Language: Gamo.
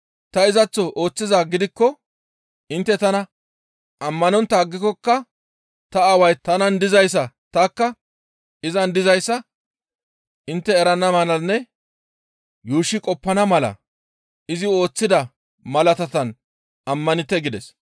Ta izaththo ooththizaa gidikko intte tana ammanontta aggikokka ta Aaway tanan dizayssa tanikka izan dizayssa intte erana malanne yuushshi qoppana mala izi ooththida malaataan ammanite» gides.